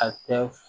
A tɛ